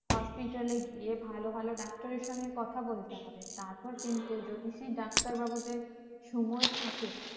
hospital এ গিয়ে ভালো ভালো ডাক্তারের সঙ্গে কথা বলতে হবে তারপর কিন্তু যদি সেই ডাক্তার বাবুদের সময় থাকে